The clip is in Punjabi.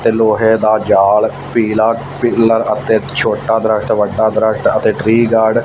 ਤੇ ਲੋਹੇ ਦਾ ਜਾਲ ਪੀਲਾ ਪਿੱਲਰ ਅਤੇ ਛੋਟਾ ਦਰੱਖਤ ਵੱਡਾ ਦਰੱਖਤ ਅਤੇ ਟ੍ਰੀ ਗਾਰਡਨ --